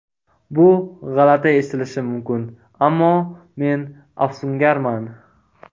Bu g‘alati eshitilishi mumkin, ammo men afsungarman.